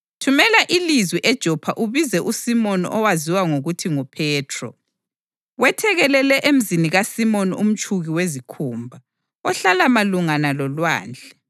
Thumela ilizwi eJopha ubize uSimoni owaziwa ngokuthi nguPhethro. Wethekelele emzini kaSimoni umtshuki wezikhumba, ohlala malungana lolwandle.’